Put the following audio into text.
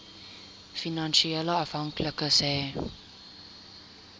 finansiële afhanklikes hê